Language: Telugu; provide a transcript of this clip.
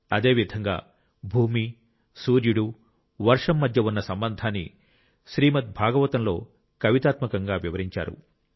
అదేవిధంగా భూమి సూర్యుడు వర్షం మధ్య ఉన్న సంబంధాన్ని శ్రీమద్ భాగవతంలో కవితాత్మకంగా వివరించారు